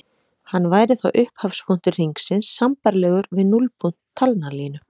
Hann væri þá upphafspunktur hringsins sambærilegur við núllpunkt talnalínu.